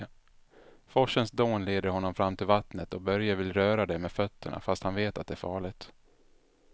Forsens dån leder honom fram till vattnet och Börje vill röra vid det med fötterna, fast han vet att det är farligt.